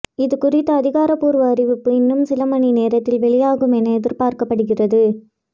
இதுகுறித்த அதிகார்பூர்வ அறிவிப்பு இன்னும் சிலமணி நேரத்தில் வெளியாகும் என எதிர்பார்க்கப்படுகிறது